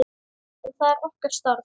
En það er okkar starf.